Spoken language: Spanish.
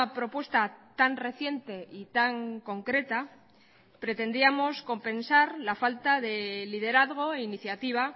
propuesta tan reciente y tan concreta pretendíamos compensar la falta de liderazgo e iniciativa